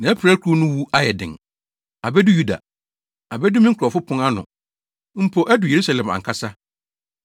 Nʼapirakuru no wu ayɛ den; abedu Yuda. Abedu me nkurɔfo pon ano mpo adu Yerusalem ankasa.